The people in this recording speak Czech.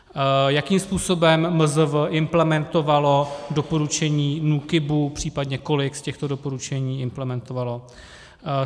Jakým způsobem MZV implementovalo doporučení NÚKIBu, případně kolik z těchto doporučení implementovalo?